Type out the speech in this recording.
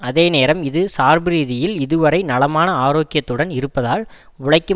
அதேநேரம் இது சார்புரீதியில் இதுவரை நலமான ஆரோக்கியத்துடன் இருப்பதால் உழைக்கும்